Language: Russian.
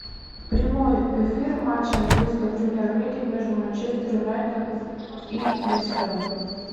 прямой эфир матча английской премьер лиги между манчестер юнайтед и лестером